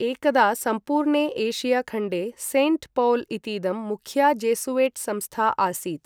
एकदा सम्पूर्णे एशियाखण्डे सेण्ट् पौल् इतीदं मुख्या जेसुयेट् संस्था आसीत्।